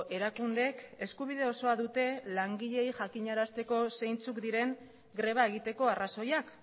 erakundeek eskubide osoa dute langileei jakinarazteko zeintzuk diren greba egiteko arrazoiak